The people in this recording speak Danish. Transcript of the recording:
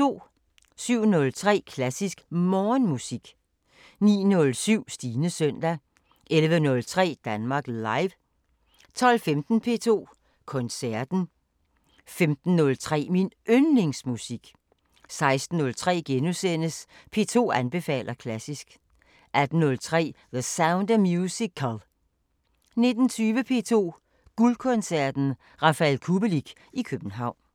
07:03: Klassisk Morgenmusik 09:07: Stines søndag 11:03: Danmark Live 12:15: P2 Koncerten * 15:03: Min Yndlingsmusik 16:03: P2 anbefaler klassisk * 18:03: The Sound of Musical 19:20: P2 Guldkoncerten: Rafael Kubelik i København